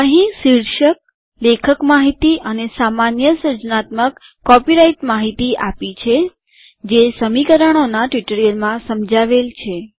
અહીં શીર્ષક લેખક માહિતી અને સામાન્ય સર્જનાત્મક કોપીરાઈટ માહિતી આપી છે જે સમીકરણો ના ટ્યુટોરીયલમાં સમજાવાયેલ છે